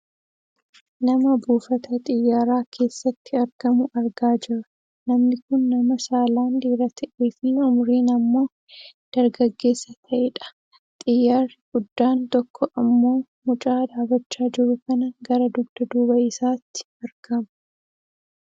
Nama buufata xiyyaaraa keessatti argamu argaa jirra. Namni kun nama saalaan dhiira ta'eefi umuriin ammoodargaggeessa ta'e dha. Xiyyaarri giddaan tokko ammoo mucaa dhaabbachaa jiru kana gara dugda duuba isaati argama